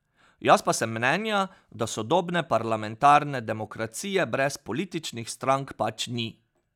Jaz pa sem mnenja, da sodobne parlamentarne demokracije brez političnih strank pač ni.